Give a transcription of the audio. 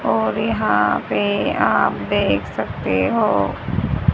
और यहां पे आप देख सकते हो--